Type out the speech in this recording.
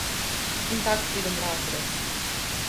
In tak pridem v razred.